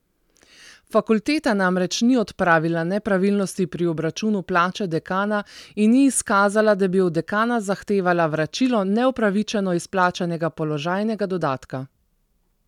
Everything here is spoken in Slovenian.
Fakulteta namreč ni odpravila nepravilnosti pri obračunu plače dekana in ni izkazala, da bi od dekana zahtevala vračilo neupravičeno izplačanega položajnega dodatka.